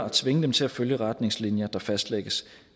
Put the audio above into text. at tvinge dem til at følge retningslinjer der fastlægges